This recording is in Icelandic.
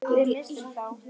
Við misstum þá.